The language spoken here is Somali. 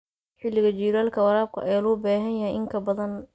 Xilliga jiilaalka, waraabka ayaa loo baahan yahay in ka badan.